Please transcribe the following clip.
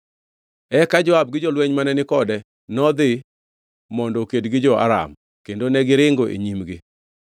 Eka Joab gi jolweny mane ni kode nodhi mondo oked gi jo-Aram, kendo negiringo e nyimgi.